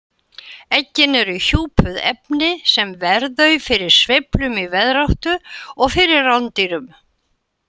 Eggin eru hjúpuð efni sem ver þau fyrir sveiflum í veðráttu og fyrir rándýrum.